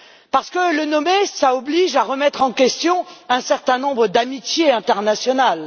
Parce que le nommer, cela oblige à remettre en question un certain nombre d'amitiés internationales.